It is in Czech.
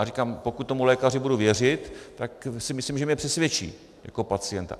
A říkám, pokud tomu lékaři budu věřit, tak si myslím, že mě přesvědčí jako pacienta.